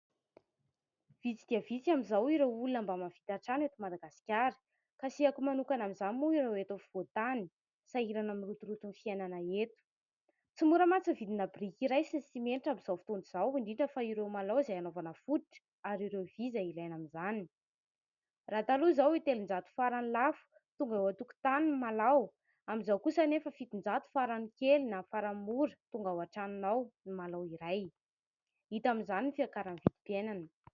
Vitsy dia vitsy amin'izao ireo olona mba mahavita trano eto Madagasikara, kasihako manokana amin'izany moa ireo eto afovoantany, sahirana amin'ny rotoroton'ny fiainana eto. Tsy mora mantsy ny vidina biriky iray sy ny simenitra amin'izao fotoana izao, indrindra fa ireo malao izay hanaovana fototra ary ireo vy izay ilaina amin'izany. Raha taloha izao telonjato farany lafo tonga eo an-tokotany ny malao, amin'izao kosa anefa fitonjato farany kely na farany mora tonga ao an-tranonao ny malao iray. Hita amin'izany ny fiakaran'ny vidim-piainana.